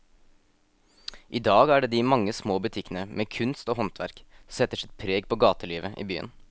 I dag er det de mange små butikkene med kunst og håndverk som setter sitt preg på gatelivet i byen.